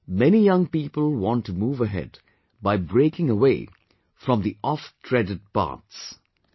Today many young people want to move ahead by breaking away from the ofttreaded paths